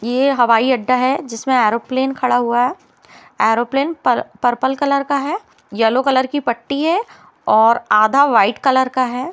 ये हबाईअड्डा है जिसमे ऐरोप्लेन खड़ा हुआ है ऐरोप्लेन पर्पल कलर का है येल्लो कलर की पट्टी है और आधा व्हाइट कलर का है।